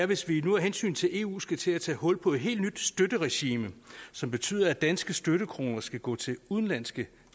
hvis vi nu af hensyn til eu skal til at tage hul på et helt nyt støtteregime som betyder at danske støttekroner skal gå til udenlandske